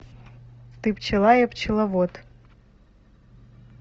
ты пчела я пчеловод